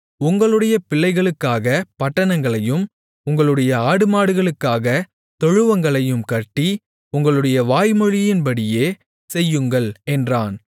உங்களுடைய பிள்ளைகளுக்காகப் பட்டணங்களையும் உங்களுடைய ஆடுமாடுகளுக்காகத் தொழுவங்களையும் கட்டி உங்களுடைய வாய்மொழியின்படியே செய்யுங்கள் என்றான்